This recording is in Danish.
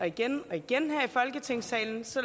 igen og igen her i folketingssalen så